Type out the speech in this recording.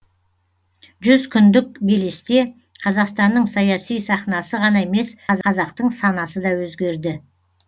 жүз күндік белесте қазақстанның саяси сахнасы ғана емес қазақтың санасы да өзгерді